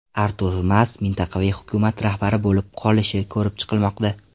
Artur Mas mintaqaviy hukumat rahbari bo‘lib qolishi ko‘rib chiqilmoqda.